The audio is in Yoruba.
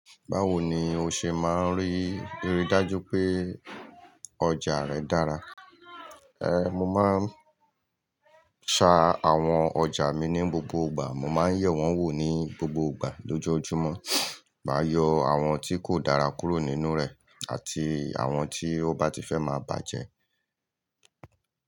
Báwo ni o ṣe máa ń rí i rí dájú pé ọjà rẹ dára? Ẹ̀, mo máa ń ṣa àwọn ọjà mi ní gbogbo ìgbà. Mo máa ń yẹ̀ wọ́n wò ní gbogbo ìgbà lójoojúmọ́. Màá yọ àwọn tí kò dára kúrò nínú rẹ̀ àti àwọn tí ọ bá ti fẹ́ máa bàjẹ́